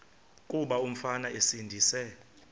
kuba umfana esindise